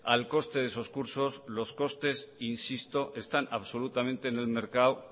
al coste de esos cursos los costes insisto están absolutamente